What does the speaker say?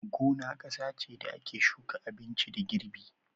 Gona kasa ce da ake shuka abinci da girbi.